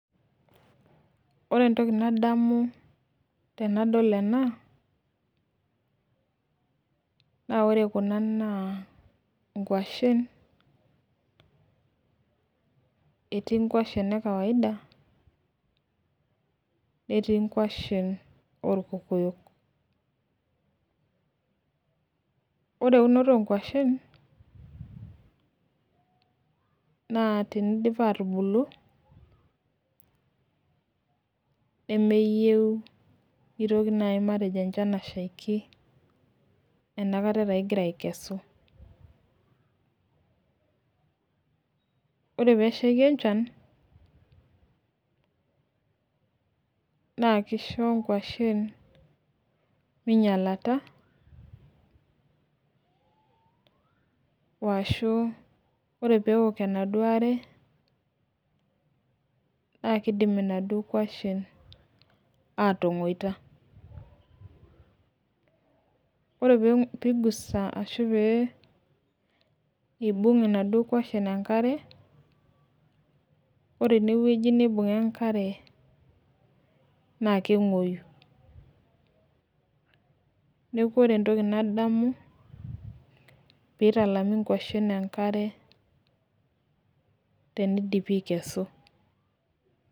Ore entoki nadamu tenadol ena, naa ore Kuna naa nkwashen, etii nkwashen ekaida netii nkwashen oorkokoyok. ore eunoto oo nkwashen naa tenidip aatubulu, nemeyieu nitoki naaji enchan ashaiki enkata taa igira aikesu. ore peeshaiki enchan naa kisho nkuashen, minyialata. washuu ore pee ok enaduo are. naa kidim inaduoo kwashen aatangoita. ore pee igusa, ashu pee Ilibung inaduoo kwashen enkare ore ene wueji neibung'a enkare, naa kenguoyu. neeku ore entoki nadamu pee italami nkwashen enkare teneidipi aikesu.